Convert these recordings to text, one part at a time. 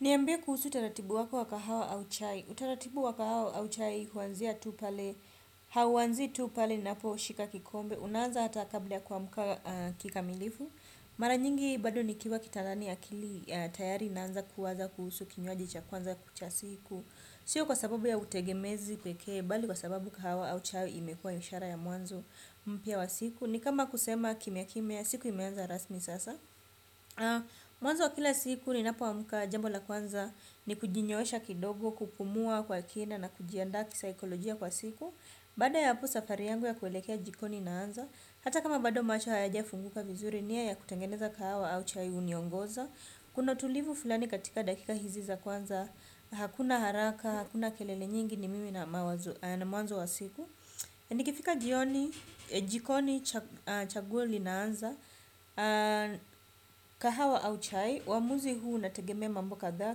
Niambie kuhusu utaratibu wako wa kahawa au chai. Utaratibu wa kahawa au chai huanzia tu pale. Hauanzii tu pale ninapo shika kikombe. Unaanza hata kabla ya kuamka kikamilifu. Mara nyingi bado nikiwa kitandani akili tayari inaanza kuwaza kuhusu kinywaji cha kwanza cha siku. Sio kwa sababu ya utegemezi pekee bali kwa sababu kahawa au chai imekua ni ishara ya mwanzo mpya wa siku. Ni kama kusema kimya kimya siku imeanza rasmi sasa. Mwanzo wa kila siku ninapo amka jambo la kwanza ni kujinyoosha kidogo, kupumua kwa kina na kujianda kisaikolojia kwa siku. Baada ya hapo safari yangu ya kuelekea jikoni inaanza. Hata kama bado macho hayaja funguka vizuri nia ya kutengeneza kahawa au chai huniongoza. Kuna tulivu fulani katika dakika hizi za kwanza. Hakuna haraka, hakuna kelele nyingi ni mimi na mwanzo wa siku. Nikifika jioni jikoni chaguo linaanza. Kahawa au chai uamuzi huu unategemea mambo kadhaa.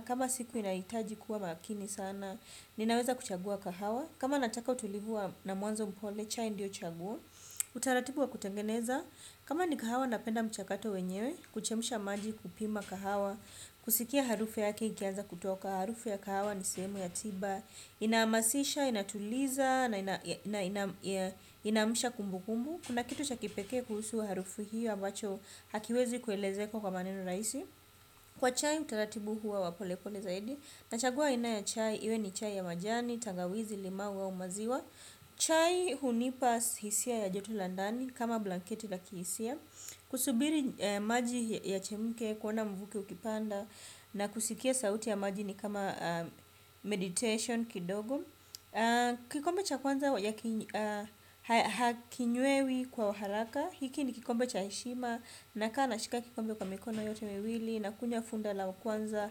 Kama siku inahitaji kuwa makini sana. Ninaweza kuchagua kahawa. Kama nataka utulivu na mwanzo mpole. Chai ndio chaguo. Utaratibu wa kutengeneza kama ni kahawa napenda mchakato wenyewe. Kuchemsha maji kupima kahawa. Kusikia harufu yake ikianza kutoka harufu ya kahawa. Ni sehemu ya tiba. Ina hamasisha, inatuliza. Inaamsha kumbu kumbu. Kuna kitu cha kipekee kuhusu harufu hio ambacho hakiwezi kuelezeka kwa maneno rahisi kwa chai utaratibu huwa wa polepole zaidi nachagua aina ya chai, iwe ni chai ya majani tangawizi, limau au maziwa chai hunipa hisia ya joto la ndani kama blanketi la kihisia kusubiri maji yachemke kuona mvuke ukipanda na kusikia sauti ya maji ni kama meditation kidogo kikombe cha kwanza hakinywewi kwa haraka hiki ni kikombe cha heshima nakaa na shika kikombe kwa mikono yote miwili nakunya funda la kwanza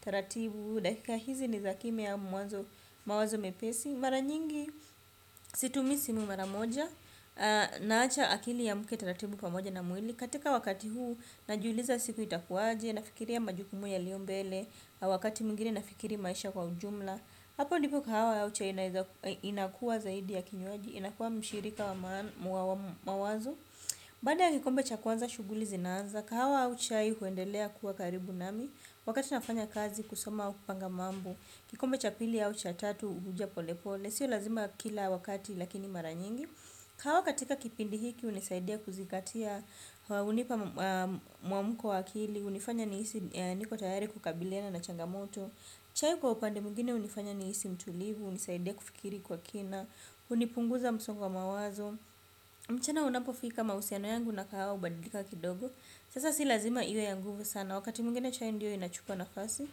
taratibu dakika hizi ni za kimya mawazo mepesi mara nyingi situmii simu mara moja naacha akili iamke taratibu pamoja na mwili katika wakati huu najiuliza siku itakuwaje nafikiria majukumu yaliombele na wakati mwingine nafikiri maisha kwa ujumla hapo ndipo kahawa au chai nakuwa zaidi ya kinywaji inakuwa mshirika wa mawazo. Baada ya kikombe cha kwanza shughuli zinanza, kahawa au chai huendelea kuwa karibu nami, wakati nafanya kazi kusoma au kupanga mambo, kikombe cha pili au cha tatu huja pole pole, sio lazima kila wakati lakini mara nyingi. Kahawa katika kipindi hiki hunisaidia kuzingatia, hunipa muamko wa kili, hunifanya nihisi niko tayari kukabiliana na changamoto. Chai kwa upande mwingine hunifanya nihisi mtulivu, hunisaidia kufikiri kwa kina, hunipunguza msongo wa mawazo. Mchana unapofika mahusiano yangu na kahawa hubadilika kidogo. Sasa si lazima iwe ya nguvu sana, wakati mwingine chai ndio inachukua nafasi.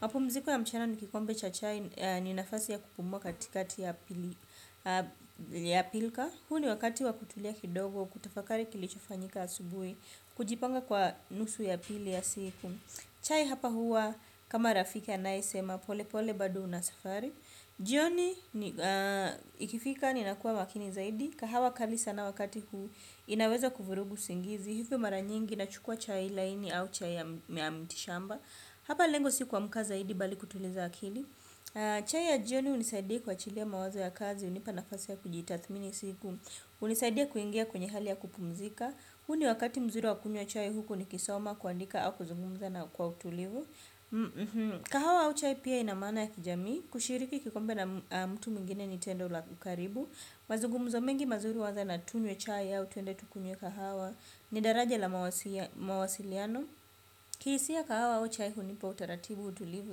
Mapumziko ya mchana ni kikombe cha chai ni nafasi ya kupumua katika ya pilka ya pilka, huu ni wakati wa kutulia kidogo, kutafakari kilichofanyika asubuhi, kujipanga kwa nusu ya pili ya siku. Chai hapa huwa kama rafiki anaesema polepole bado una safari jioni ikifika ninakuwa makini zaidi kahawa kali sana wakati huu inaweza kuvurugu usingizi. Hivyo mara nyingi nachukua chai laini au chai ya mtishamba. Hapa lengo si kuamka zaidi bali kutuliza akili. Chai ya jioni hunisaidia kuachilia mawazo ya kazi hunipa nafasi ya kujitathmini siku hunisaidia kuingia kwenye hali ya kupumzika. Huu ni wakati mzuri wakunywa chai huku nikisoma kuandika au kuzungumza na kwa utulivu. Kahawa au chai pia ina maana ya kijamii. Kushiriki kikombe na mtu mwingine ni tendo la ukaribu. Mazugumzo mengi mazuri huanza na tunywe chai au twende tukunye kahawa ni daraja la mawasiliano kihisia kahawa au chai hunipa utaratibu utulivu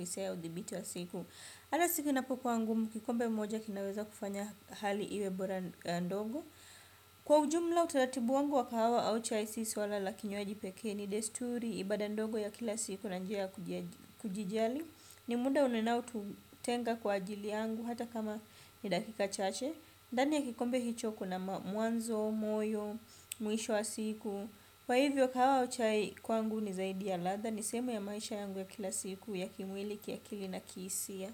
hisia ya udhibiti wa siku. Ata siku inapokuwa ngumu kikombe moja kinaweza kufanya hali iwe bora ndogo. Kwa ujumla utaratibu wangu wa kahawa au chai si swala la kinywaji pekee ni desturi. Ibaada ndogo ya kila siku na nji ya kujijali ni muda ninaotenga kwa ajili yangu hata kama ni dakika chache ndani ya kikombe hicho kuna mwanzo moyo mwisho wa siku kwa hivyo kahawa au chai kwangu ni zaidi ya ladha. Ni sehemu ya maisha yangu ya kila siku ya kimwili kiakili na kihisia.